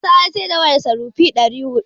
Isa ya siyar da wayarsa rupee ɗari huɗu.